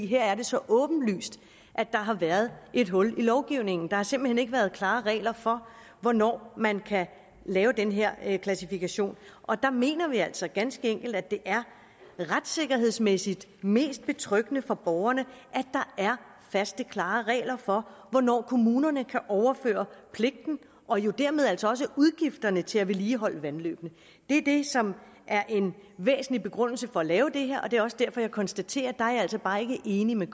her er det så åbenlyst at der har været et hul i lovgivningen der har simpelt hen ikke været klare regler for hvornår man kan lave den her her klassifikation og der mener vi altså ganske enkelt at det er retssikkerhedsmæssigt mest betryggende for borgerne at der er faste klare regler for hvornår kommunerne kan overføre pligten og jo dermed altså også udgifterne til at vedligeholde vandløbene det er det som er en væsentlig begrundelse for at lave det her og det er også derfor jeg konstaterer jeg altså bare ikke enig med